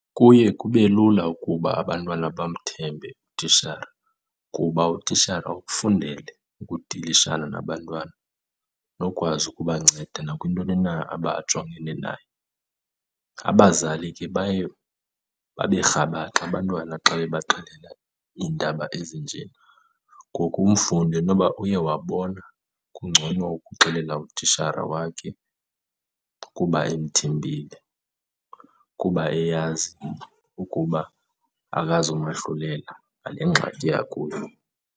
Kuye kubelula ukuba abantwana bamthembe utishara kuba utishara ukufundele ukudilishana nabantwana nokwazi ukubanceda nakwintoni na abajongene nayo. Abazali ke baye babe rhabaxa abantwana xa bebaxelela iindaba ezinje. Ngoku umfundi inoba uye wabona kungcono ukuxelela utishara wakhe kuba emthembile, kuba eyazi ukuba akazumahlulela ngale ngxaki akuyo.